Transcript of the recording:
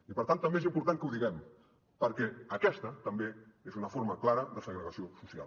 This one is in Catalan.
i per tant també és important que ho diguem perquè aquesta també és una forma clara de segregació social